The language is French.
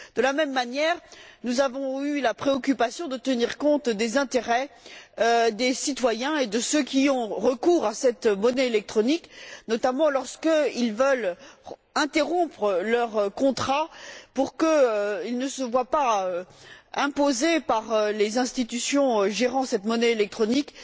De la même manière, nous avons eu la préoccupation de tenir compte des intérêts des citoyens et de ceux qui ont recours à cette monnaie électronique, notamment lorsqu'ils veulent interrompre leur contrat, de façon à ce qu'ils ne se voient pas imposer par les institutions gérant cette monnaie électronique